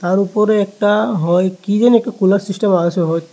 তার উপরে একটা হয় কী জানি একটা কুলার সিস্টেম আছে হয়।